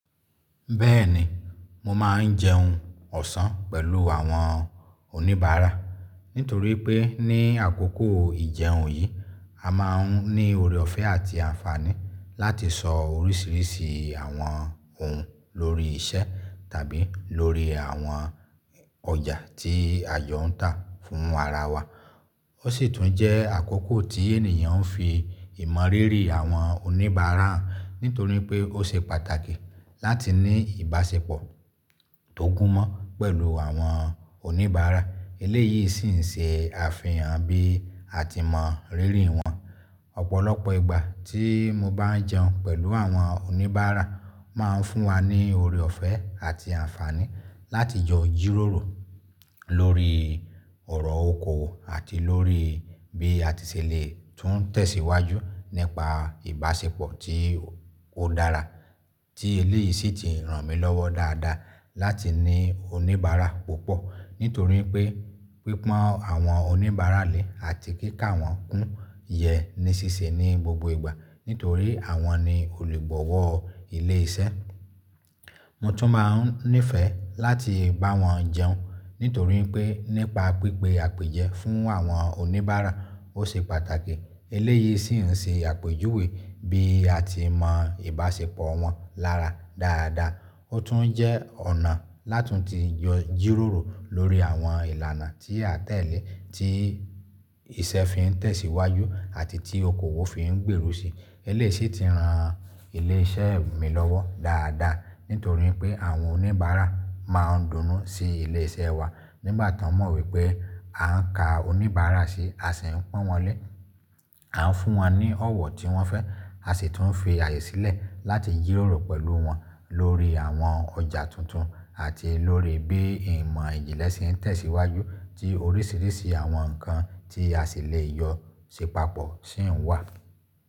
Bẹ́ẹ̀ni, mo máa ń jẹun ọ̀sán pẹ̀lú àwọn oníbàárà nítorí pé ní àkókò ìjẹun yìí a máa ń ní ore ọ̀fẹ́ àti àǹfààní láti sọ oríṣiríṣi àwọn ohun lórí isẹ́ tàbí lórí àwọn ọjà tí ajọ̀ ń tà fún ara wa. Ó sì tún jẹ́ àkókò tí ènìyàn ń fi ìmọ̀rírì àwọn oníbàárà hàn nítorí pé ó ṣe pàtàkì láti ní ìbáṣepọ̀ tó gúnmọ́ pẹ̀lú àwọn oníbàárà. Eléyìí sì ń ṣe àfihàn bí a ti mọ̀rírì wọn. Ọ̀pọ̀lọpọ̀ ìgbà tí mo bá ń jẹun pẹ̀lú àwọn oníbàárà máa ń fún wa ní ore ọ̀fẹ́ àti àǹfààní láti jọ jíróòrò lórí ọ̀rọ̀ okowo àti lórí bí a ti ṣèle tún tẹ̀síwájú nípa ìbáṣepọ̀ tí ó dára tí eléyìí sì ti ràn mí lọ́wọ́ dáadáa láti ní oníbàárà púpọ̀. Nítorí pé pípọ́n àwọn oníbàárà lè àti kí ká wọn kún yẹ ní síse ní gbogbo ìgbà nítorí àwọn ni olùgbọ́wọ̀ ilé iṣẹ́. Mo tún máa ń nífẹ̀ẹ́ láti bá wọn jẹun nítorí pé nípa pípé àpèjẹ fún àwọn oníbàárà ó ṣe pàtàkì. Eléyìí sì ń ṣe àpèjúwe bí a ti mọ̀ ìbáṣepọ̀ wọn lára dáadáa. Ó tún jẹ́ ọ̀nà látun ti jọ jíróòrò lórí àwọn ìlànà tí a n tẹ̀lé tí iṣẹ́ fi ń tẹ̀síwájú àti tí okoòwò fi ń gbèrú si. Eléyìí sì ti ran ilé iṣẹ́ mi lọ́wọ́ dáadáa nítorí pé àwọn oníbàárà máa ń dùnú sí ilé iṣẹ́ wa nígbà tí wọ́n mọ̀ wípé a ń ka oníbàárà sí, a sì ń pọ́n wọn lé, a ń fún wọn ní ọ̀wọ̀ tí wọ́n fẹ́, a sì tún fi àyè sílẹ̀ láti jíróòrò pẹ̀lú wọn lórí àwọn ọjà tuntun àti lórí bí ìmọ̀ ìjìnlẹ̀ ṣe ń tẹ̀síwájú tí oríṣiríṣi àwọn nǹkan tí a ṣèlẹ́ jọ̀ sépapọ̀ sì ń wà.